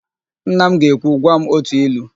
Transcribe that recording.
Nna m ga-ekwu, "gwa m ótù ilu"!